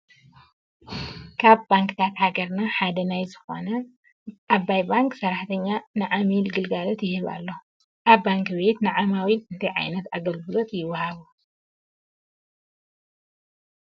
ካብ ባንክታት ሃገርና ሓደ ናይ ዝኾነ ኣባይ ባንክ ሰራሕተኛ ንዓሚሉ ግልጋሎት ይህብ ኣሎ፡፡ ኣብ ባንክ ቤት ንዓማዊል እንታይ ዓይነት ኣገልግሎታት ይወሃቡ?